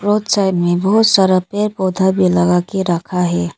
Road side में बहुत सारा पेड़ पौधा भी लगा के रखा है।